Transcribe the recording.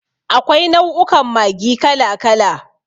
Akwai nau'ukan Maggi kala kala.